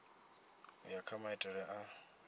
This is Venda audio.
u ya kha maitele a